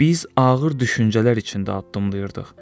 Biz ağır düşüncələr içində addımlayırdıq.